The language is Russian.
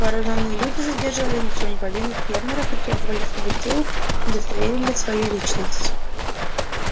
вооружённые люди задерживали ни в чем не повинных фермеров и требовали чтобы те удостоверили свою личность